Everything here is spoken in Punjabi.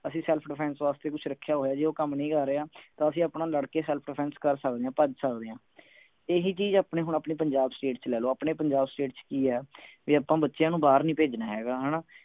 ਅਸੀਂ self defense ਵਾਸਤੇ ਕੁਛ ਰਖਿਆ ਹੋਇਆ ਜੇ ਉਹ ਕੰਮ ਨਹੀਂ ਆ ਰਿਹਾ ਤਾਂ ਅਸੀਂ ਆਪਣਾ ਲੜ ਕੇ self defense ਕਰ ਸਕਦੇ ਆ ਭੱਜ ਸਕਦੇ ਆ ਇਹੀ ਚੀਜ ਆਪਣੇ ਹੁਣ ਪੰਜਾਬ state ਚ ਲੈ ਲਓ ਆਪਣੇ ਪੰਜਾਬ state ਚ ਕਿ ਆ ਵੀ ਆਪਾਂ ਬੱਚਿਆਂ ਨੂੰ ਬਾਹਰ ਨੀ ਭੇਜਣਾ ਹੈਗਾ ਹਣਾ